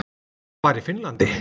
Það var í Finnlandi.